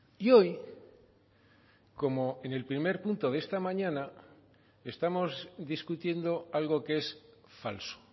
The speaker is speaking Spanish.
y hoy como en el primer punto de esta mañana estamos discutiendo algo que es falso